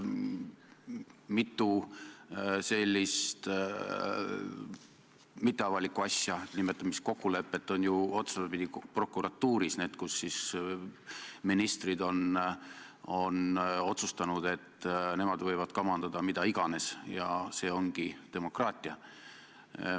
Mitu sellist mitteavalikku asja, nimetame neid siis kokkuleppeks, on ju otsapidi prokuratuuris, need on need asjad, kui ministrid on otsustanud, et nemad võivad kamandada mida iganes ja see ongi demokraatia.